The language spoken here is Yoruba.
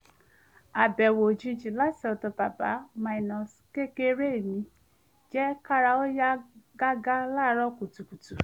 àbẹ̀wò òjijì láti ọ̀dọ̀ babá-kékeré mi jẹ́ kára ó yá gágá láàárọ̀ kùtùkùtù